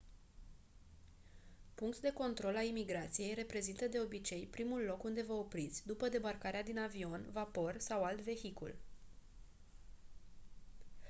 punct de control a imigrației reprezintă de obicei primul loc unde vă opriți după debarcarea din avion vapor sau alt vehicul